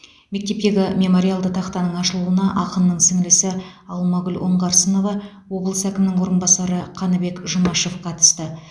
мектептегі мемориалды тақтаның ашылуына ақынның сіңлісі алмагүл оңғарсынова облыс әкімінің орынбасары қаныбек жұмашев қатысты